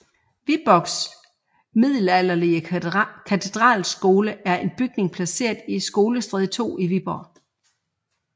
Viborgs Middelalderlige Katedralskole er en bygning placeret i Skolestræde 2 i Viborg